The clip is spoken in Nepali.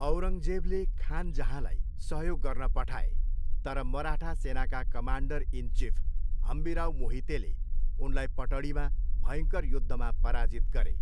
औरङ्गजेबले खान जहाँलाई सहयोग गर्न पठाए तर मराठा सेनाका कमान्डर इन चिफ हम्बिराव मोहितेले उनलाई पटडीमा भयङ्कर युद्धमा पराजित गरे।